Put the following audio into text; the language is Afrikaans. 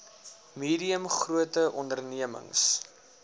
medium grote ondememings